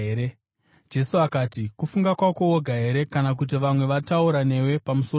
Jesu akati, “Kufunga kwako woga here kana kuti vamwe vataura newe pamusoro pangu?”